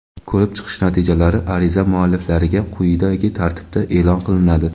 Ko‘rib chiqish natijalari ariza mualliflariga quyidagi tartibda eʼlon qilinadi:.